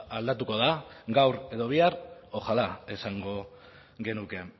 aldatuko da gaur edo bihar ojalá esango genuke